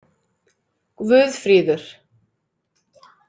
Guðfríður